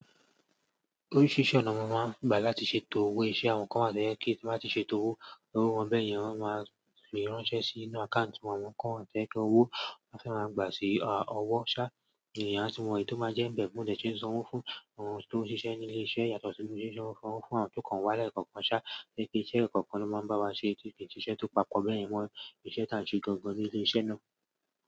Oríṣi iṣẹ́ ọnà náà máa ń gbà láti ṣe tọ́wọ́ iṣẹ́ àwọn kan máa jẹ́ kí tí wọ́n bá ṣe tọ́wọ́, owó wọn bẹ́ẹ̀ yẹn máa fì ránṣẹ́ sínú àkáùntì wọn kan àtẹ tó wó, wọ́n sì máa gbà sí ọwọ́ ṣá. Ẹ̀yà tí wọn mọ ẹni tó máa jẹ́ ń bẹ̀ mò dẹ ṣi ń sàn ọ̀wọ̀ fún àwọn tó ń ṣiṣẹ́ ní ilé iṣẹ́ yàtọ̀ sí ilé ìṣesọ̀wọ̀ fún àwọn tó kàn wá lẹkàn kàn ṣá, ní kí iṣẹ́ kọ̀ọ̀kan ló máa ń bá wa ṣe tí kì í ṣe tó papọ̀ bẹ́ẹ̀ yẹn mọ́ iṣẹ́ tá ń ṣe gangan ní ilé iṣẹ́ náà.